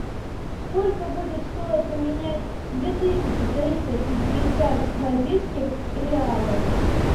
сколько будет стоить поменять две тысячи триста пятьдесят бразильских реалов